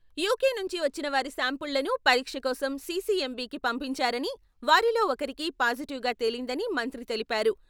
UK నుంచి వచ్చిన వారి శాంపుళ్లను పరీక్ష కోసం సిసిఎమ్బికీ పంపించారని వారిలో ఒకరికి పాజిటివ్ గా తేలిందని మంత్రి తెలిపారు.